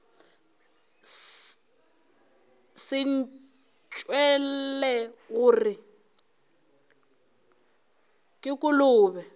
se ntšwele gore ke kolobe